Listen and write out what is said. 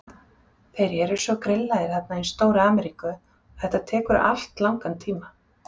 Þeir eru svo grillaðir þarna í stóru Ameríku að þetta tekur allt langan tíma.